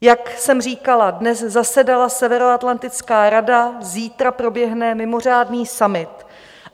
Jak jsem říkala, dnes zasedala Severoatlantická rada, zítra proběhne mimořádný summit.